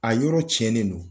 A yɔrɔ tiɲɛnen don.